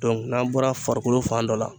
n'an bɔra farikolo fan dɔ la.